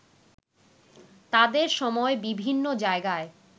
তাদের সময় বিভিন্ন জায়গায়